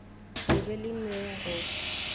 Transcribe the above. le be le nweng go